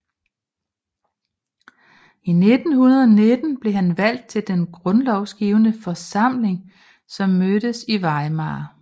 I 1919 blev han valgt til den grundlovsgivende forsamling som mødtes i Weimar